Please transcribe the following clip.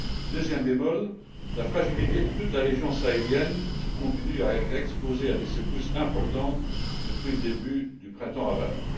Deuxième bémol la fragilité de toute la région sahélienne qui continue à être exposée à des secousses importantes depuis le début du printemps arabe.